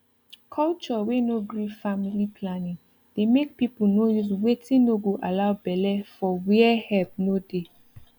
culture wey no gree family planning dey make people no use watin no go allow bele for where help no dey